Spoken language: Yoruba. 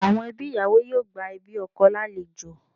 Àwọn ẹbí ìyàwó yóò gba ẹbí ọkọ lálejò